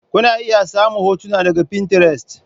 Kuna iya samun hotuna daga Pinterest.